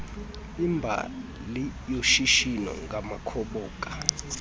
imbali yoshishino ngamakhoboka